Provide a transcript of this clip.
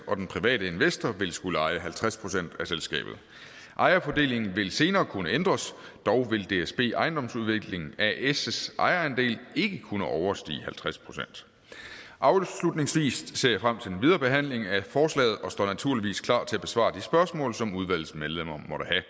og den private investor vil skulle eje halvtreds procent af selskabet ejerfordelingen vil senere kunne ændres dog vil dsb ejendomsudvikling as ejerandel ikke kunne overstige halvtreds procent afslutningsvis ser jeg frem til den videre behandling af forslaget og står naturligvis klar til at besvare de spørgsmål som udvalgets medlemmer